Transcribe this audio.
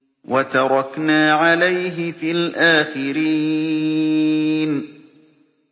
وَتَرَكْنَا عَلَيْهِ فِي الْآخِرِينَ